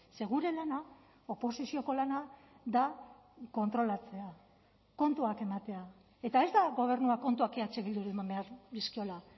ze gure lana oposizioko lana da kontrolatzea kontuak ematea eta ez da gobernuak kontuak eh bilduri eman behar dizkiola